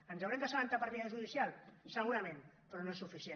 ens n’haurem d’assabentar per via judicial segurament però no és suficient